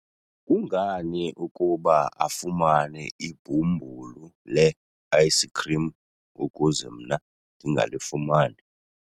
kungani ukuba afumane ibhumbulu le-ayisikhrim ukuze mna ndingalifumani?